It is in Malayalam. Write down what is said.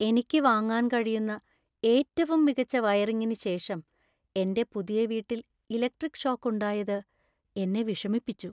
എനിക്ക് വാങ്ങാൻ കഴിയുന്ന ഏറ്റവും മികച്ച വയറിംഗിന് ശേഷം എന്‍റെ പുതിയ വീട്ടിൽ ഇലക്ട്രിക് ഷോക്ക് ഉണ്ടായത് എന്നെ വിഷമിപ്പിച്ചു.